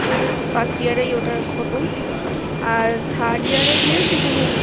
first year এই ওটা খতম আর third year এ গিয়ে শুধু